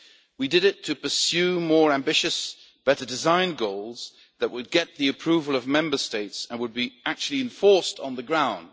We did it to pursue more ambitious, better designed goals that would get the approval of Member States and would be actually enforced on the ground.